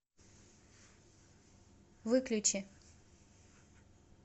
выключи